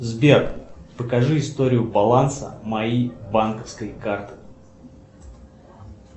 сбер покажи историю баланса моей банковской карты